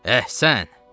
Əhsən!